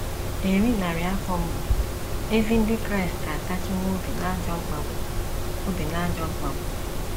Eri narị afọ mbụ, ezi ndị Kraịst atachiwo obi n’ajọ mkpagbu obi n’ajọ mkpagbu.